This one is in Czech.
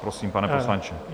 Prosím, pane poslanče.